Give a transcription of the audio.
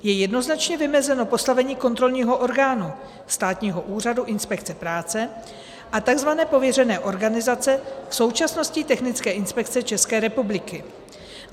Je jednoznačně vymezeno postavení kontrolního orgánu státního úřadu inspekce práce a tzv. pověřené organizace, v současnosti Technické inspekce České republiky.